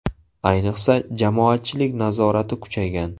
Ayniqsa, jamoatchilik nazorati kuchaygan.